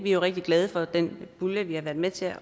er jo rigtig glade for den pulje vi har været med til